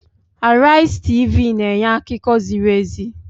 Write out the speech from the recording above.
Arise TV na-enye akụkọ ziri ezi.